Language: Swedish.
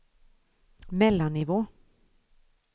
mellannivå